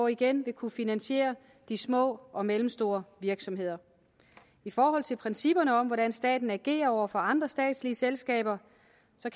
igen vil kunne finansiere de små og mellemstore virksomheder i forhold til principperne om hvordan staten agerer over for andre statslige selskaber